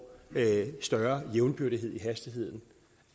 større jævnbyrdighed i hastigheden